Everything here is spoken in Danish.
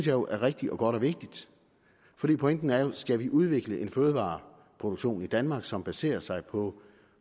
jo er rigtigt og godt og vigtigt for pointen er jo skal vi udvikle en fødevareproduktion i danmark som baserer sig på en